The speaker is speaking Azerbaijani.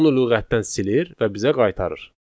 onu lüğətdən silir və bizə qaytarır.